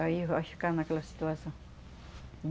Aí vós ficava naquela situação.